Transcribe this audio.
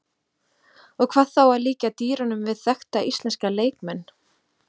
Og hvað þá að líkja dýrunum við þekkta íslenska leikmenn?